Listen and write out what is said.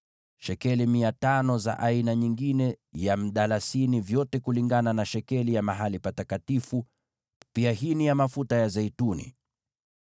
shekeli 500 za aina nyingine ya mdalasini, vyote kulingana na shekeli ya mahali patakatifu, pia hini ya mafuta ya zeituni.